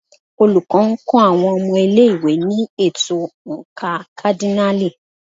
Olùkọ́ ń kọ́ àwọn ọmọ ilé-ìwé ní ètò oǹkà kádínààlì.